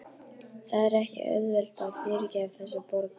Það er ekki auðvelt að yfirgefa þessa borg.